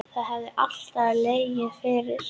Það hefði alltaf legið fyrir